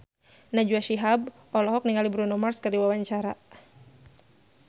Najwa Shihab olohok ningali Bruno Mars keur diwawancara